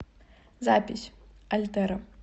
запись альтэра